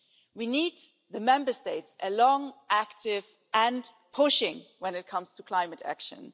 We need the Member States along, active and pushing when it comes to climate action.